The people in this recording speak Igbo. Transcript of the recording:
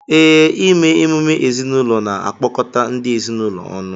Ee, ime emume ezinụlọ na-akpọkọta ndị ezinụlọ ọnụ